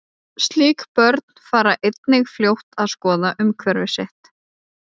Slík börn fara einnig fljótt að skoða umhverfi sitt.